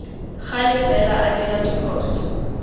gale fela a dira diphoso